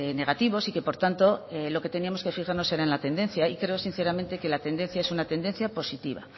negativos y que por tanto en lo que teníamos que fijarnos era la tendencia y creo sinceramente que la tendencia es una tendencia positiva